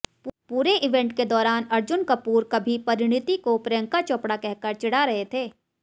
पूरे इवेंट के दौरान अर्जुन कपूर कभी परिणीति को प्रियंका चोपड़ा कहकर चिढ़ा रहे थे